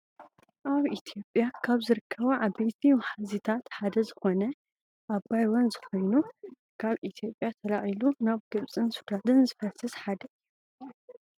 ኣብ ኢትዮጵያ ካብ ዝርከቡ ዓበይቲ ወሓዚታት ሓደ ዝኮነ ኣባይ ወንዝ ኮይኑ ካብ ኢትዮጵያ ተላዒሉ ናብ ግብፅን ሱዳንን ዝፈስስ ሓደ እዩ።